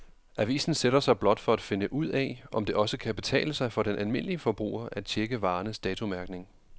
Avisen sætter sig blot for at finde ud af, om det også kan betale sig for den almindelige forbruger at checke varernes datomærkning.